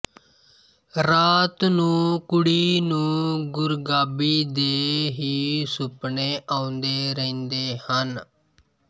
ਰਾਤ ਨੂੰ ਕੁੜੀ ਨੂੰ ਗੁਰਗਾਬੀ ਦੇ ਹੀ ਸੁਪਨੇ ਆਉਂਦੇ ਰਹਿੰਦੇ ਹਨ